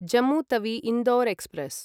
Jammu Tawi Indore express